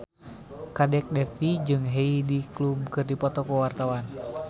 Kadek Devi jeung Heidi Klum keur dipoto ku wartawan